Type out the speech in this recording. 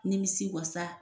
Nimisi wasa.